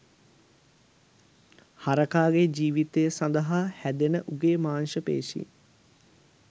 හරකාගේ ජීවිතය සඳහා හැදෙන උගේ මාංශ පේශීන්